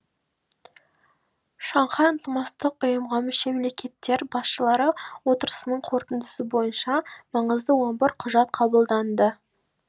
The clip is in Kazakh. шанхай ынтымақтастық ұйымға мүше мемлекеттер басшылары отырысының қорытындысы бойынша маңызды он бір құжат қабылданды